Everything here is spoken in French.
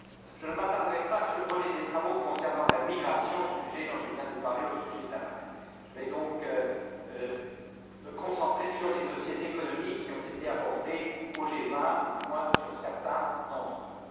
Je ne m'attarderai pas sur le volet des travaux concernant la migration, sujet dont je viens de parler au sujet de La Valette, je vais donc me concentrer sur les dossiers économiques qui ont été abordés au G20 ou, du moins, sur certains d'entre eux.